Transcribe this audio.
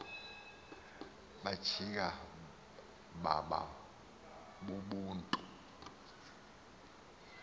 bajika baba bubuntu